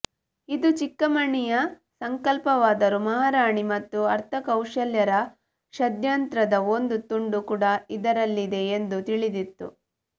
ಇದು ಚಿಕ್ಕಮ್ಮಣ್ಣಿಯ ಸಂಕಲ್ಪವಾದರೂ ಮಹಾರಾಣಿ ಮತ್ತು ಅರ್ಥಕೌಶಲರ ಷಡ್ಯಂತ್ರದ ಒಂದು ತುಂಡು ಕೂಡ ಇದರಲ್ಲಿದೆ ಎಂದು ತಿಳಿದಿತ್ತು